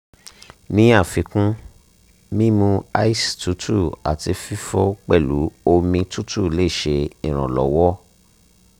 ni afikun mimu ice tutu ati fifo pelu omi tutu le ṣe iranlọwọ